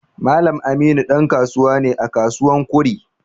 Mallam Aminu dan kasuwa ne à kasuwan Kure.